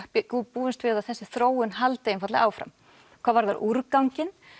búumst við að þessi þróun haldi einfaldlega áfram hvað varðar úrganginn